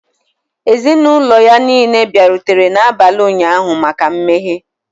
Ezinụlọ ya niile bịarutere n'abalị ụnyahụ maka mmeghe.